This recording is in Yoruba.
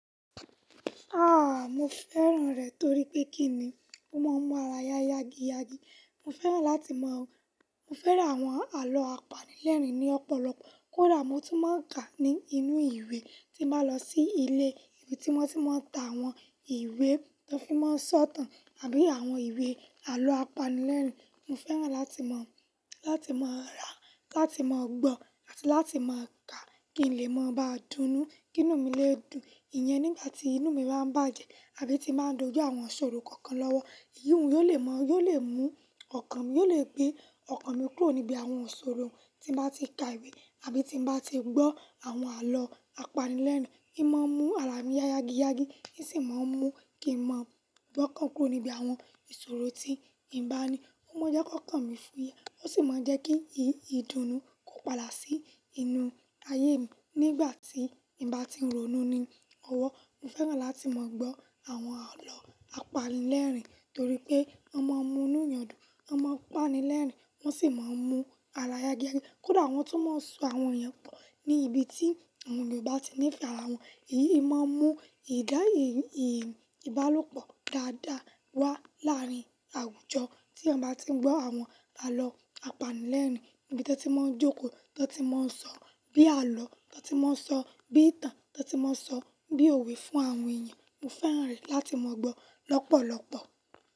Ah! Mo fẹ́ràn rẹ̀ torí pé kí ni? Ó máa ń mú ara yágiyági. Mo fẹ́ràn láti mọ̀ ọ́n. Mo fẹ́ràn àwọn àlọ́ apanilẹ́rìn ní ọ̀pọ̀lọpọ̀. Kódà mo tún máa ń kà ní inú ìwé tí mo bá lọ sí ilé ìbi tí wọ́n sì máa ń ta àwọn ìwé tó fi máa ń sọ̀tàn àbí àwọn ìwé àlọ́ apanilẹ́rìn. Mo fẹ́ràn láti mọ̀, láti máa rà, láti máa gbọ́ àti láti máa ka kí n lè máa ba dú nú kínnu mí lè dùn ìyẹn nígbà tí inú mi bá ń bàjẹ́ àbí tí màá dojú àwọn iṣòro kankan lọ́wọ́. Iyì wọ́n yóò lè mọ, yóò lè mú ọkàn mi, yóò lè gbé ọkàn mi kúrò níbi àwọn iṣòro tí mo bá ti ka ìwé àbí tí mo bá ti gbọ́ àwọn àlọ́ apanilẹ́rìn. I máa ń mú ara mi yágiyági, ní sì máa ń mú kí n máa gbọ́ nkán kúrò níbi àwọn ìṣòro tí nbá ní. Ó máa jẹ́ kó kàn mí fúye, ó sì máa jẹ́ kí ìdùnnú kó padà sí inú ayé mi nígbà tí nì bá tí ń ronú ni ọwọ́. Mo fẹ́ràn láti mọ̀ gbọ́ àwọn àlọ́ apanilẹ́rìn torí pé wọ́n máa ń mú inú ẹnyàn dùn, wọ́n máa ń páni lẹ́rìn, wọ́n sì máa ń mú ara yágiyági. Kódà wọ́n tún máa ń so àwọn èèyàn pọ̀ ní ibi tí àwọn ènìyàn bá ti nífẹ̀ẹ́ ara wọn. Èyí máa ń mú ìdá, ìbálòpọ̀ dáadáa wá láàárín àwùjọ tí ẹeyan bá ti gbọ́ àwọn àlọ́ apanilẹ́rìn níbi tí wọ́n ti máa ń jókòó, tí wọ́n ti máa ń sọ bí àlọ́, tí wọ́n ti máa ń sọ bí ìtàn, tí wọ́n ti máa ń sọ bí òwe fún àwọn èèyàn. Mo fẹ́ràn rẹ̀ láti mọ̀ gbọ́ lọ́pọ̀lọpọ̀.